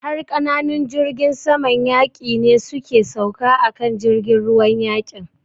Har ƙananun jirgin saman yaƙi ne su ke sauka a kan jirgin ruwan yaƙin.